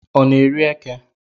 Ọ na eri eke?